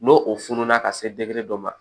N'o o fununa ka se dɔ ma